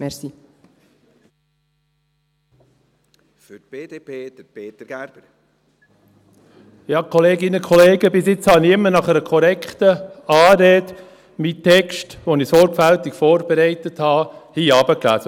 Bis jetzt habe ich hier immer nach einer korrekten Anrede meinen Text, den ich sorgfältig vorbereitet habe, heruntergelesen.